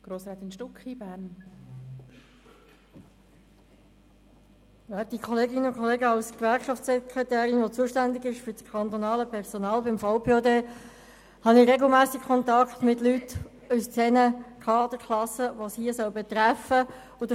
AlsGewerkschaftssekretärin beim Schweizerischen Verband des Personals öffentlicher Dienste (VPOD), die für das kantonale Personal zuständig ist, pflege ich regelmässig Kontakt zu Leuten aus den Kaderklassen, die es hier betreffen soll.